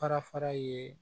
Fara fara ye